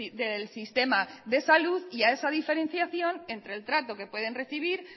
del sistema de salud y a esa diferenciación entre el trato que pueden recibir